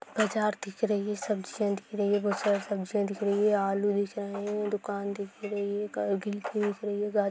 बाजार दिख रही है सब्जियां दिख रही है बहुत सारी सब्जियां दिख रही हैं आलू दिख रहे है दुकान दिख रही है ]